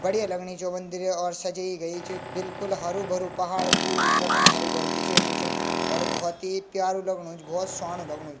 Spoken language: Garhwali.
बढ़िया लगणी च वो मंदिर और सजयीं गयी च बिलकुल हरु भरू पहाड़ पूरु उत्तराखण्ड हरु भारू दिखेणु च और भौत ही प्यारु लगणु च भौत स्वाणु लगणु च।